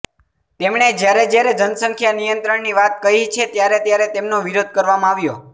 તેમણે જ્યારે જ્યારે જનસંખ્યા નિયંત્રણની વાત કહી છે ત્યારે ત્યારે તેમનો વિરોધ કરવામાં આવ્યો